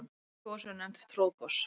Slík gos eru nefnd troðgos.